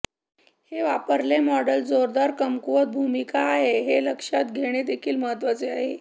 हे वापरले मॉडेल जोरदार कमकुवत भूमिका आहे हे लक्षात घेणे देखील महत्वाचे आहे